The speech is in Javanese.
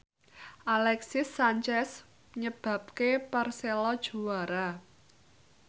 Alexis Sanchez nyebabke Persela juara